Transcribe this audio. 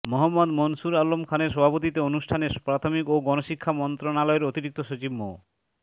মোহাম্মদ মুনসুর আলম খানের সভাপতিত্বে অনুষ্ঠানে প্রাথমিক ও গণশিক্ষা মন্ত্রণালয়ের অতিরিক্ত সচিব মো